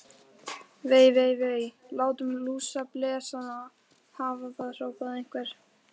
Vei, vei, vei. látum lúsablesana hafa það hrópaði einhver.